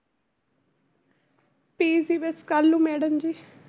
PG ਬਸ ਕੱਲ੍ਹ ਨੂੰ madam ਜੀ।